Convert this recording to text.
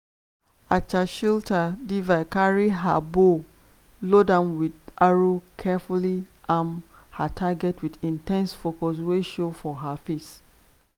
archer carry her bow load am wit arrow carefully aim her target wit in ten se focus wey show for her face.